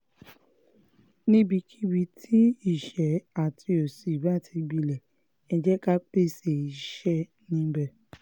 níbikíbi tí ìṣẹ́ àti òṣì bá ti gbilẹ̀ ẹ́ jẹ́ ká pèsè iṣẹ́ níbẹ̀